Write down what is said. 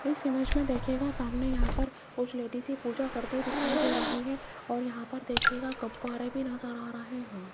इस इमेज में देखिएगा सामने यहां पर कुछ लेडिजे पूजा करते हुए दिखाई दे रही है और यहां पर देखीयेगा गुब्बारे भी नजर आ रहे हैं।